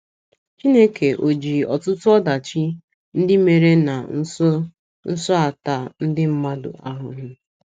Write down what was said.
Chineke ò ji ọtụtụ ọdachi ndị mere na nso nso a taa ndị mmadụ ahụhụ?